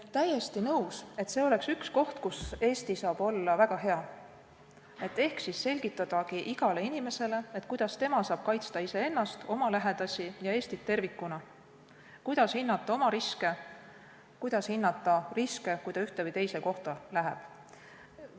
Olen täiesti nõus, et see on üks kohti, kus Eesti saab olla väga hea: selgitada igale inimesele, kuidas tema saab kaitsta iseennast, oma lähedasi ja Eestit tervikuna, kuidas hinnata riske, kui ta ühte või teise kohta läheb.